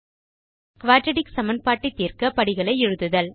quadratic சமன்பாட்டை தீர்க்க படிகளை எழுதுதல்